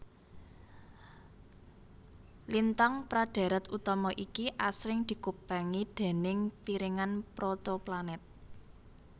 Lintang pra dhèrèt utama iki asring dikupengi déning piringan protoplanet